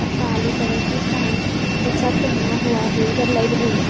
और काली कलर की पैंट ऐसा पहना हुआ है इधर लाइट भी है।